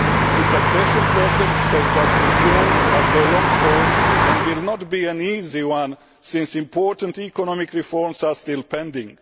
Its accession process has just resumed after a long pause, and it will not be an easy one, since important economic reforms are still pending.